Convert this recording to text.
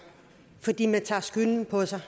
fordi man tager skylden på sig